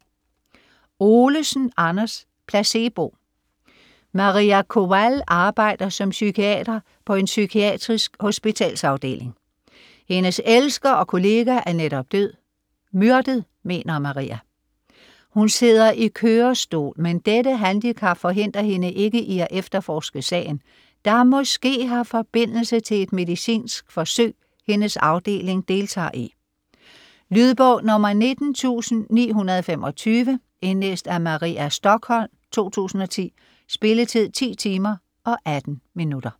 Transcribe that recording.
Olesen, Anders: Placebo Maria Kowal arbejder som psykiater på en psykiatrisk hospitalsafdeling. Hendes elsker og kollega er netop død, myrdet mener Maria. Hun sidder i kørestol, men dette handicap forhindrer hende ikke i at efterforske sagen, der måske har forbindelse til et medicinsk forsøg, hendes afdeling deltager i. Lydbog 19925 Indlæst af Maria Stokholm, 2010. Spilletid: 10 timer, 18 minutter.